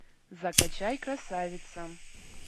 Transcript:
закачай красавица